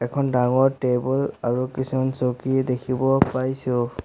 এখন ডাঙৰ টেবুল আৰু কিছুমান চকী দেখিব পাইছোঁ।